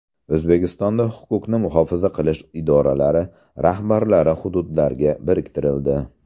O‘zbekistonda huquqni muhofaza qilish idoralari rahbarlari hududlarga biriktirildi.